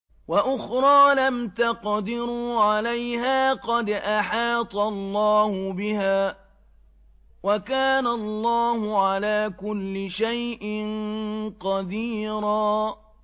وَأُخْرَىٰ لَمْ تَقْدِرُوا عَلَيْهَا قَدْ أَحَاطَ اللَّهُ بِهَا ۚ وَكَانَ اللَّهُ عَلَىٰ كُلِّ شَيْءٍ قَدِيرًا